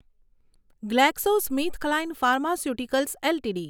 GlaxoSmithKline pharmaceuticals LTD